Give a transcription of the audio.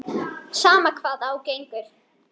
Sama hvað á gengur.